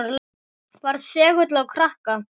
Var segull á krakka.